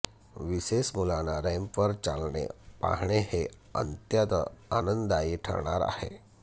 विशेष मुलांना रॅम्पवर चालणे पाहणे हे अंत्यत आनंदायी ठरणार आहे